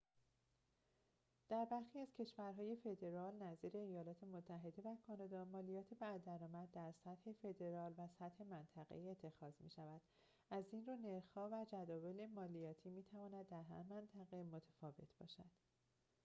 در برخی از کشورهای فدرال نظیر ایالات متحده و کانادا مالیات بر درآمد در سطح فدرال و سطح منطقه‌ای اتخاذ می‌شود از این رو نرخ‌ها و جداول مالیاتی می‌تواند در هر منطقه متفاوت باشد